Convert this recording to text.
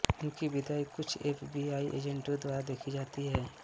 उनकी विदाई कुछ एफबीआई एजेंटों द्वारा देखी जाती है